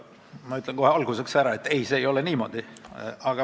Ma ütlen kohe alguses ära, et ei, see ei ole niimoodi.